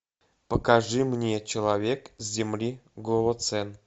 покажи мне человек с земли голоцен